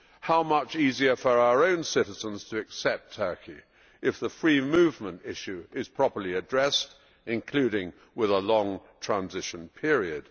How much easier for our own citizens to accept Turkey if the free movement issue is properly addressed, including with a long transition period.